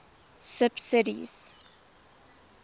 subsidies